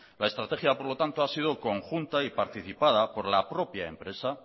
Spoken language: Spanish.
la estrategia por lo tanto ha sido conjunta y participada por la propia empresa